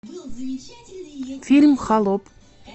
фильм холоп